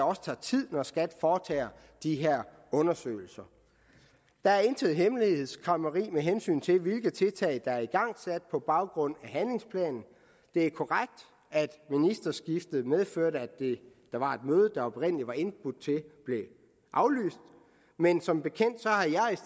også tager tid for skat foretage de her undersøgelser der er intet hemmelighedskræmmeri med hensyn til hvilke tiltag der er igangsat på baggrund af handlingsplanen det er korrekt at ministerskiftet medførte at et møde der var blevet indbudt til blev aflyst men som bekendt